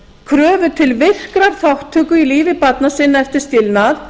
kröfur til virkrar þátttöku í lífi barna sinna eftir skilnað